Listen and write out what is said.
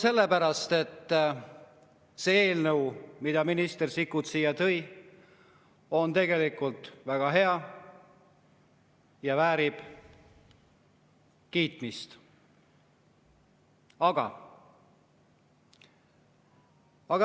Sellepärast, et see eelnõu, mille minister Sikkut siia tõi, on tegelikult väga hea ja väärib kiitmist, aga ...